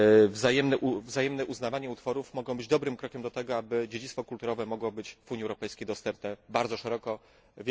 wzajemne uznawanie utworów, mogą być dobrym krokiem do tego, aby dziedzictwo kulturowe było w Unii Europejskiej bardzo szeroko dostępne.